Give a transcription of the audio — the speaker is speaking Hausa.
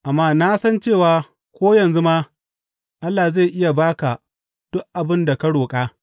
Amma na san cewa ko yanzu ma Allah zai ba ka duk abin da ka roƙa.